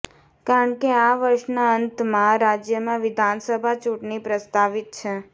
કારણ કે આ વર્ષના અંતમાં રાજ્યમાં વિધાનસભા ચૂંટણી પ્રસ્તાવિત છે